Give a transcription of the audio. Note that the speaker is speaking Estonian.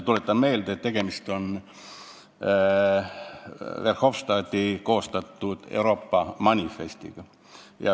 " Tuletan meelde, et tegemist on Verhofstadti koostatud Euroopa manifestiga.